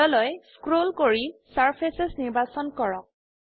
তললৈ স্ক্ৰোল কৰি চাৰ্ফেচেছ নিৰ্বাচন কৰক